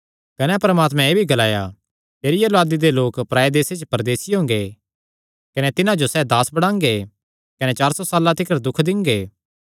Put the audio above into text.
कने परमात्मैं एह़ भी ग्लाया तेरिया औलादी दे लोक पराये देसे च परदेसी हुंगे कने तिन्हां जो सैह़ दास बणांगे कने चार सौ साल्लां तिकर दुख दिंगे